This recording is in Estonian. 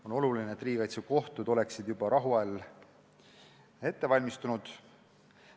On oluline, et riigikaitsekohtud oleksid juba rahuajal ette valmistunud.